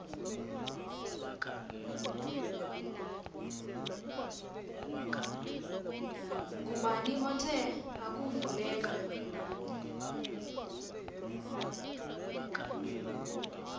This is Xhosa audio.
ngubani othe akuvuleka